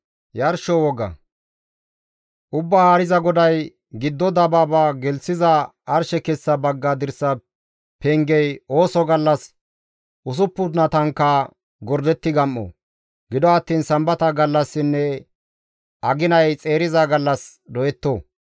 « ‹Ubbaa Haariza GODAY: giddo dabaaba gelththiza arshe kessa bagga dirsa pengey ooso gallas usuppunatankka gordetti gam7o; gido attiin Sambata gallassinne aginay xeeriza gallas doyetto.